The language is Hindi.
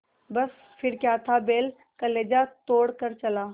बस फिर क्या था बैल कलेजा तोड़ कर चला